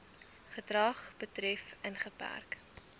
gedrag betref ingeperk